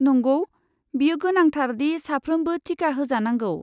नंगौ, बेयो गोनांथार दि साफ्रोमबो टिका होजानांगौ।